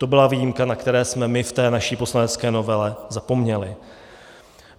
To byla výjimka, na kterou jsme my v té naší poslanecké novele zapomněli.